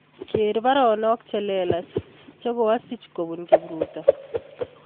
Ger baronok chelelach chegoasich kobun Kipruto